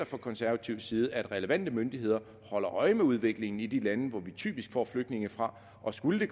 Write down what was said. fra konservativ side forventer at relevante myndigheder holder øje med udviklingen i de lande vi typisk får flygtninge fra og skulle